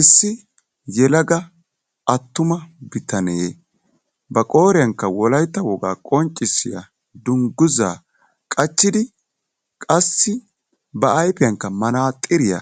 Issi yelaga attuma bitanne ba qooriyankka wolaytta wogaa qonccissiya dungguzzaa qachchadi qassi ba ayfiyankka manaaxxiriya